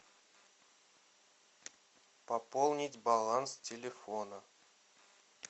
пополнить баланс телефона